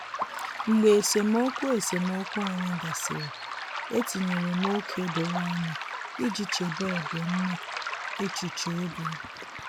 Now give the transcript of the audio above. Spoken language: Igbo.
Mgbe esemokwu esemokwu anyị gasịrị, etinyere m ókè doro anya iji chebe ọdịmma echuche obim